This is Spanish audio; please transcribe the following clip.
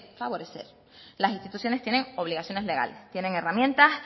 favorecer las instituciones tienen obligaciones legales tienen herramientas